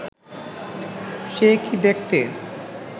সে কি দেখতে